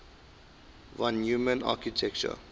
von neumann architecture